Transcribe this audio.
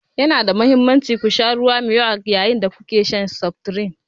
Yana da mahimmanci ku sha ruwa mai yawa yayin da kuke shan seftirin.